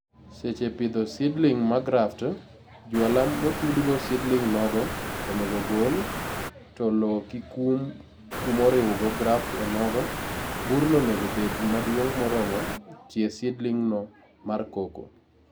Sech pidho seedling magraft, jwala motudgo seedling nogo, onego ogol, to loo kikum kumoriwgo graft onogo. Burno onego bed maduong' moromo tie seedlingno mar cocoa.